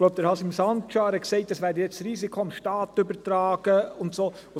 Ich glaube, Hașim Sancar hat gesagt, das Risiko werde dem Staat übertragen und so weiter.